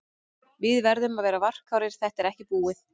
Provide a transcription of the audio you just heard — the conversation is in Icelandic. Við verðum að vera varkárir, þetta er ekki búið.